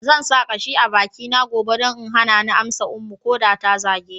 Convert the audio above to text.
Zan sa kashi a bakina gobe don in hana ni amsa Ummu ko da ta zage ni.